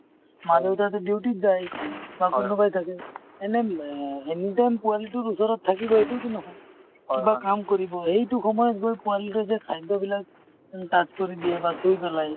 মাক দেউতাকে duty ত যায় এনেই ব anytime পোৱালি টোৰ ওচৰত থাকিব এইটোও টো নহয় । কিবা কাম কৰিব , সেইটো সময়ত গৈ পোৱালিটোই যে খাদ্য বিলাক touch কৰি দিয়ে বা চুই পেলাই ।